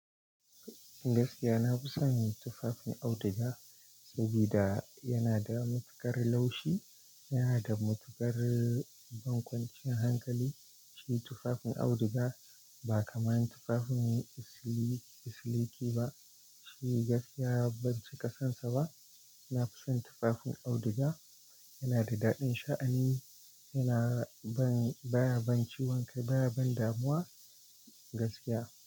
Gaskiya na fi son tufafin auduga sabida yana da matuƙar laushi, yana da matuƙar ban kwancin hankali. Shi tufafin auduga ba kamar tufafin siliki ba, shi gaskiya ban cika sansa ba. Na fi son tufafin auduga, yana da daɗin sha'ani, yana ban baya ban ciwon kai, baya ban damuwa gaskiya.